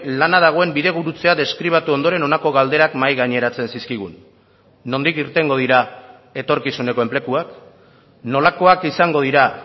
lana dagoen bidegurutzea deskribatu ondoren honako galderak mahai gaineratzen zizkigun nondik irtengo dira etorkizuneko enpleguak nolakoak izango dira